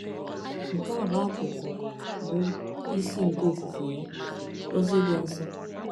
Nke a bụ akụkụ bụ́ isi nke ọfụfe ya, “ ọzi dị nsọ. ”